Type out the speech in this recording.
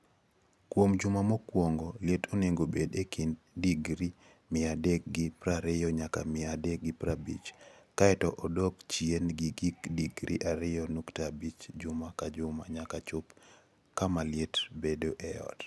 Kuom juma mokwongo, liet onego obed e kind digri mia adek gi prariyo nyaka mia adek gi prabich, kae to odok chien gi gi digri ariyo nukta abich juma ka juma nyaka chop kama liet bedo e ot.